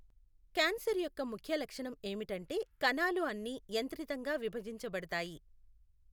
cancer యొక్క ముఖ్య లక్షణం ఏమిటంటే కణాలు అన్నీ యంత్రితంగా విభజించబడతాయి